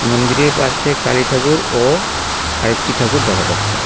মন্দিরের পাশে কালী ঠাকুর ও আরেকটি ঠাকুর দেখা যাচ্ছে।